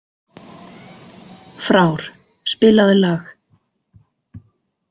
Frár, spilaðu lag.